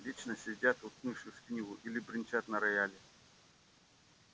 вечно сидят уткнувшись в книгу или бренчат на рояле